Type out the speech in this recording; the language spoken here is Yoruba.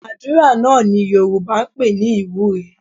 Àdúrà náà ni Yorùbá ń pè ní ìwúre